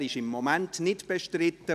Er ist im Moment nicht bestritten.